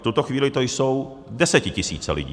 V tuto chvíli to jsou desetitisíce lidí.